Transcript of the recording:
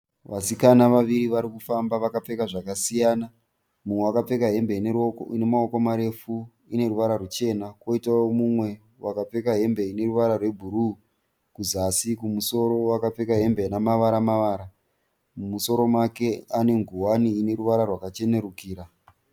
Vasikana vaviri varikufamba vakapfeka zvakasiyana. Mumwe akapfeka hembe ine maoko marefu ine ruvara ruchena. Koitawo mumwe wakapfeka hembe ine ruvara rwebhuru kuzasi, kumusoro akapfeka hembe ine mavara mavara. Mumusoro make ane nguwani ine ruvara rwakachenerukira.